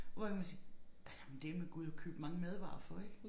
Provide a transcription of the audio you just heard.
Hvor jo kan man sige der kan man dæleme gå ud og købe mange madvarer for ik